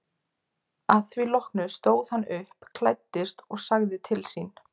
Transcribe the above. Að því loknu stóð hann upp, klæddist og sagði til sín.